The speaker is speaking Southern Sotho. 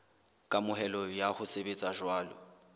kamohelo ya ho sebetsa jwalo